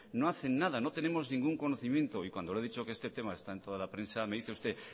no hacen nada y cuando le he dicho que este tema está en toda la prensa me dice usted